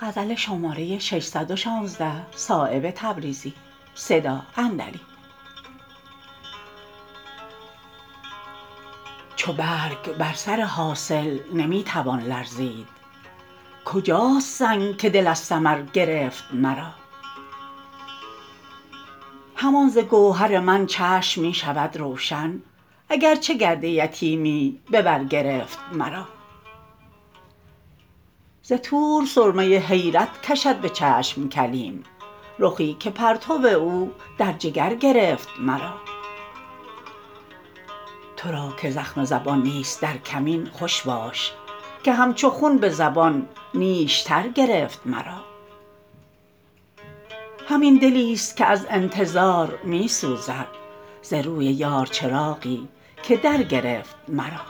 چو برگ بر سر حاصل نمی توان لرزید کجاست سنگ که دل از ثمر گرفت مرا همان ز گوهر من چشم می شود روشن اگر چه گرد یتیمی به بر گرفت مرا ز طور سرمه حیرت کشد به چشم کلیم رخی که پرتو او در جگر گرفت مرا ترا که زخم زبان نیست در کمین خوش باش که همچو خون به زبان نیشتر گرفت مرا همین دلی است که از انتظار می سوزد ز روی یار چراغی که در گرفت مرا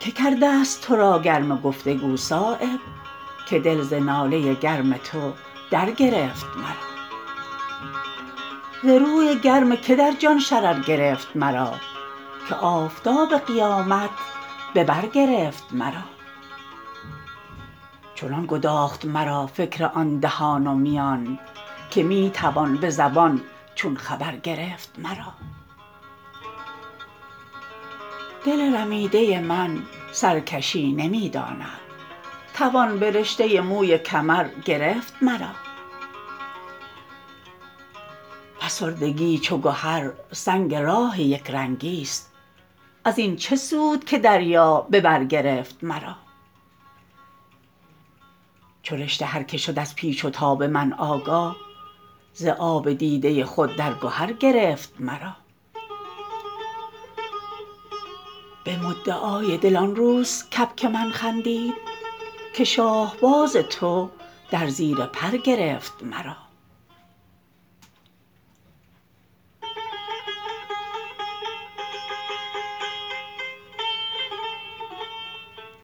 که کرده است ترا گرم گفتگو صایب که دل ز ناله گرم تو در گرفت مرا ز روی گرم که در جان شرر گرفت مرا که آفتاب قیامت به بر گرفت مرا چنان گداخت مرا فکر آن دهان و میان که می توان به زبان چون خبر گرفت مرا دل رمیده من سرکشی نمی داند توان به رشته موی کمر گرفت مرا فسردگی چو گهر سنگ راه یکرنگی است ازین چه سود که دریا به بر گرفت مرا چو رشته هر که شد از پیچ و تاب من آگاه ز آب دیده خود در گهر گرفت مرا به مدعای دل آن روز کبک من خندید که شاهباز تو در زیر پر گرفت مرا